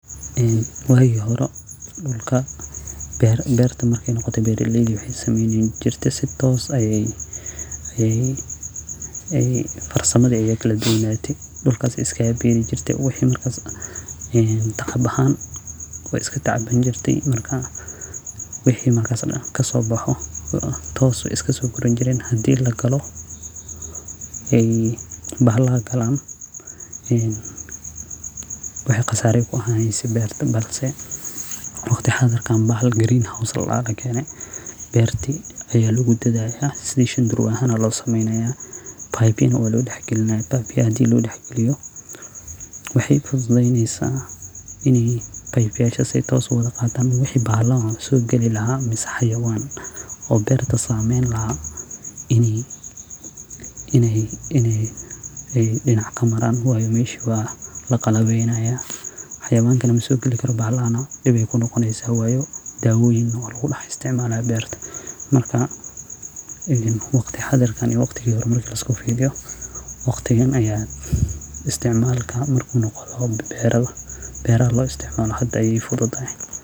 Waagi hore dulka berta marka ey noqoto beeraleydha waxey sameyni jirte si toos ayeey farsamadhi ayaa kaladubnaate dulka sey iskagabeeri jirte wixi marka tacab baxaan wey iskatacaban jirte wixi markas kasooboxo toos wey iskasooguran jireen hadii lagalo bahalaha galaan waxey qasaara kuahaaneyse beerta balse waqti xaadharkan bahal green house ladaha ayaa lakeene beerti ayaa logudadhalaa sidhi shanduruwa ayaa loo sameynaya pipe ya neh waa loo dax galinaya pipe a ayaa loo sameynaya pipe ya neh waa loo dax galinaya pipe biyaha hadii loodax galiyo waxey fudhudheynesa ini pipe yasha si toos uwadha qataa wixi bahala oo soo gali laha ama xayawaan oo berta saameyn lahaa ineey dinac kamaraan waayo mesha waa laqalabeynayaa xayawanka neh masoogali karo bahalaha neh dib bey kunoqoneysaa wayo daawoyin neh waa lagudax isticmalaya berta marka waqti xaadhirka iyo waqtigii hore marki liskufiiriyo waqtigan ayaa isticmalka marku noqon loho beeraha loo isticmalo hada ayee fudhudahay.